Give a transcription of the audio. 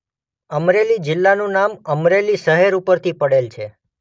અમરેલી જિલ્લાનું નામ અમરેલી શહેર ઉપરથી પડેલ છે